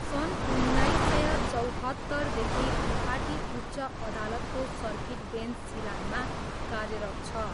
सन् उन्नाइस सय चौहत्तरदेखि गुवाहाटी उच्च अदालतको सर्किट बेन्च सिलाङमा कार्यरत छ।